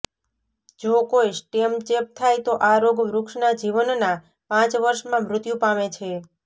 જો કોઈ સ્ટેમ ચેપ થાય તો આ રોગ વૃક્ષના જીવનના પાંચ વર્ષમાં મૃત્યુ પામે છે